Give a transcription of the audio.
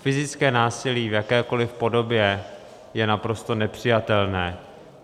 fyzické násilí v jakékoli podobě je naprosto nepřijatelné.